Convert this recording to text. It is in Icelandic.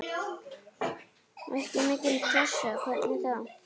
Ekki mikil pressa, hvernig þá?